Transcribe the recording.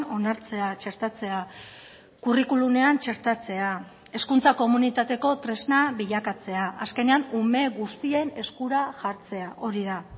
onartzea txertatzea curriculumean txertatzea hezkuntza komunitateko tresna bilakatzea azkenean ume guztien eskura jartzea hori da